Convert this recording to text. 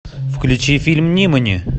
включи фильм нимани